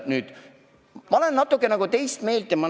Nüüd, ma olen natuke nagu teist meelt.